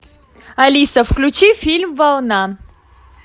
алиса включи фильм волна